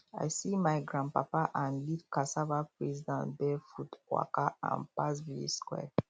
i see my grandpapa um lead cassava praise dance barefoot waka um pass village square